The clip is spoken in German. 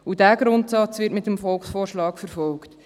Dieser Grundsatz wird mit dem Volksvorschlag verfolgt.